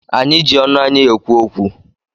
Anyị ji ọnụ anyị ekwu okwu.